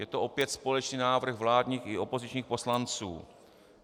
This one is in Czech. Je to opět společný návrh vládních i opozičních poslanců.